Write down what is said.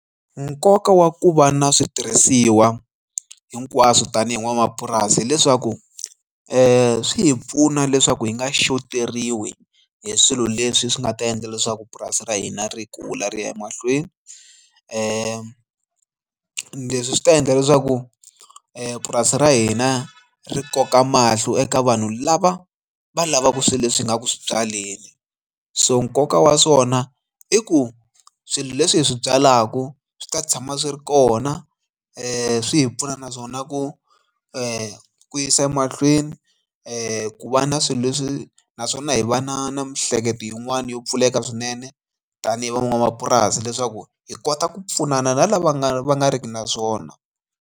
Nkoka wa ku va na switirhisiwa hinkwaswo tanihi n'wanamapurasi hileswaku swi hi pfuna leswaku hi nga xoteriwi hi swilo leswi swi nga ta endla leswaku purasi ra hina ri kula ri ya emahlweni ni leswi swi ta endla leswaku purasi ra hina ri koka mahlo eka vanhu lava va lavaka swilo leswi hi nga ku swi byaleni so nkoka wa swona i ku swilo leswi hi swi byalaka swi ta tshama swi ri kona leswi swi hi pfuna naswona ku ku yisa emahlweni ku va na swilo leswi naswona hi va na na miehleketo yin'wani yo pfuleka swinene tanihi van'wamapurasi leswaku hi kota ku pfunana na lava nga va nga riki na swona.